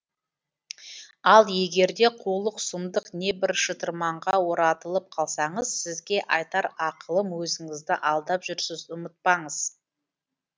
ал егерде қулық сұмдық небір шытырманға оратылып қалсаңыз сізге айтар ақылым өзіңізді алдап жүрсіз ұмытпаңыз